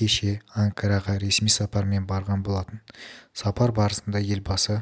кеше анкараға ресми сапармен барған болатын сапар барысында елбасы